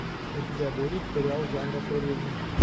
у тебя будет сериал жанра туризм